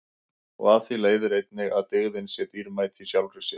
Og af því leiðir einnig að dygðin sé dýrmæt í sjálfri sér.